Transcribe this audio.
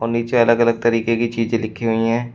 नीचे अलग अलग तरीके की चीज़े लिखी हुई हैं।